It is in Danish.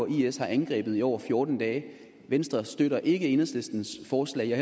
is har angrebet i over fjorten dage venstre støtter ikke enhedslistens forslag og